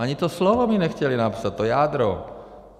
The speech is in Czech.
Ani to slovo mi nechtěli napsat, to jádro!